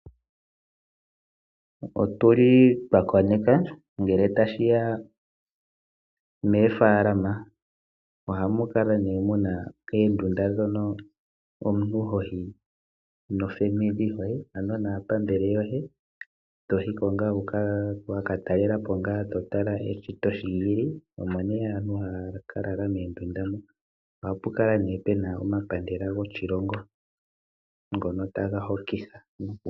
Otu li twa koneka ngele tashi ya moofaalama ohamu kala mu na oondunda moka omuntu ho yi naapambele yoye. To yi ko wa ka tala eshito shi li li. Omo nduno aantu haya ka lala moondunda moka. Ohapu kala pu na omapandela goshilongo ngono taga hokitha.